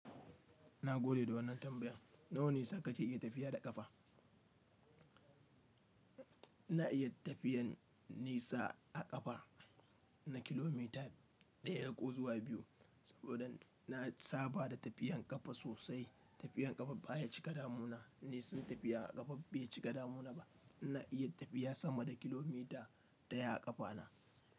Na gode da wannan tambayan. Na wani nisa kake iya tafiya da ƙafa? Na iya tafiyan nisa a ƙafa, na kilomita ɗaya ko zuwa biyu, saboda na saba da tafiyan ƙafa sosai. Tafiyan ƙafa baya cika damuna. Nisar tafiya a ƙafa bai cika damuna ba. Na iya tafiya sama da kilomita ɗaya a ƙafa na.